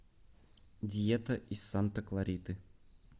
диета из санта клариты